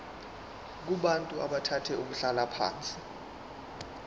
kubantu abathathe umhlalaphansi